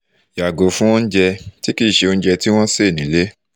yago fun ounje ti kinse ounje ti won won se nile